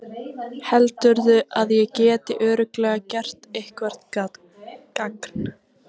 Heldurðu að ég geti örugglega gert eitthvert gagn?